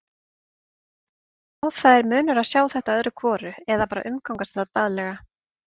Já, það er munur á að sjá þetta öðru hvoru eða bara umgangast þetta daglega.